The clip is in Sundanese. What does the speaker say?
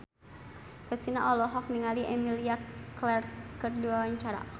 Kristina olohok ningali Emilia Clarke keur diwawancara